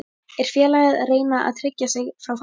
Er félagið að reyna að tryggja sig frá falli?